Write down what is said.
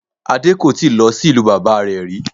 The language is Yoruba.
Adé kò tíì lọ sí ìlú bàbá rẹ̀ rí